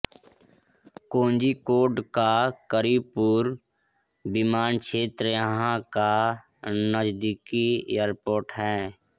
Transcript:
कोजीकोड का करीपुर विमानक्षेत्र यहां का नजदीकी एयरपोर्ट है